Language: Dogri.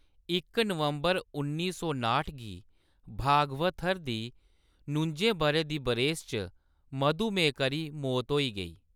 इक नवंबर उन्नी सौ नाह्ट गी भागवथर दी नुजें बʼरे दी बरेस च मधुमेह्‌‌ करी मौत होई गेई।